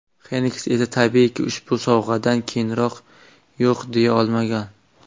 Xenks esa tabiiyki ushbu sovg‘adan keyin yo‘q deya olmagan.